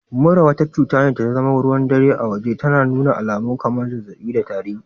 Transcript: Mura, wata cutar da tazama ruwan dare a waje, tana nuna alamun kamar zazzabi da tari